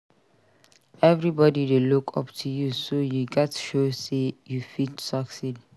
Everybody dey look up to you so you gats show sey you fit succeed.